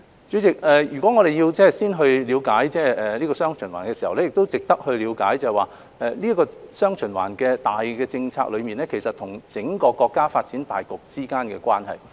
主席，我們要了解"雙循環"，就值得了解"雙循環"這項大政策與整個國家發展大局之間的關係。